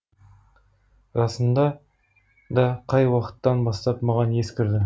расында да қай уақыттан бастап маған ес кірді